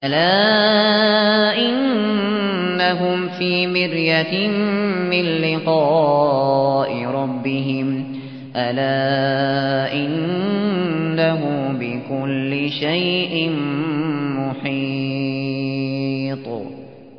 أَلَا إِنَّهُمْ فِي مِرْيَةٍ مِّن لِّقَاءِ رَبِّهِمْ ۗ أَلَا إِنَّهُ بِكُلِّ شَيْءٍ مُّحِيطٌ